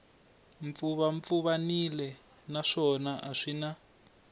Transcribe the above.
pfuvapfuvanile naswona a swi na